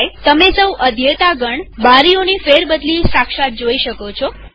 તમો સૌ અધ્યેતાગણ બારીઓની ફેરબદલી સાક્ષાત જોઈ શકો છો